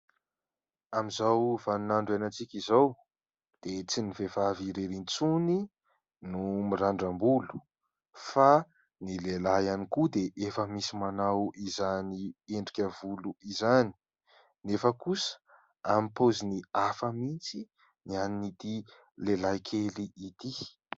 Amin'izao vaninandro iainantsika izao dia tsy ny vehivavy irery intsony no mirandram-bolo fa ny lehilahy ihany koa dia efa misy manao izany endrika volo izany. Nefa kosa amin'ny paoziny hafa mihitsy ny an'ity lehilahy kely ity.